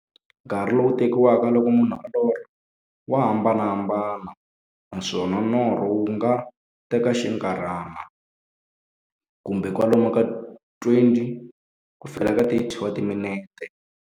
Nkarhi lowu tekiwaka loko munhu a lorha, wa hambanahambana, naswona norho wu nga teka xinkarhana, kumbe kwalomu ka 20-30 wa timinete.